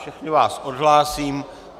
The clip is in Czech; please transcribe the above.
Všechny vás odhlásím.